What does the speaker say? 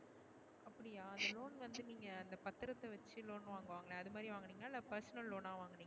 அப்டியா இந்த loan வந்து நீங்க அந்த பத்தரத்த வச்சு loan வாங்குவாங்களே அதுமாதிரி வாங்குனிங்களா? இல்ல personal loan அ வாங்குனீங்களா?